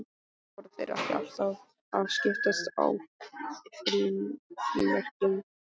Og voru þeir ekki alltaf að skiptast á frímerkjum?